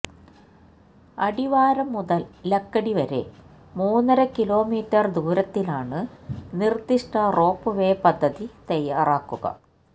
അടിവാരം മുതല് ലക്കിടി വരെ മൂന്നര കിലോമീറ്റര് ദൂരത്തിലാണ് നിര്ദിഷ്ട റോപ് വേ പദ്ധതി തയാറാക്കുക